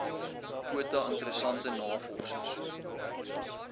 kwota interessante navorsers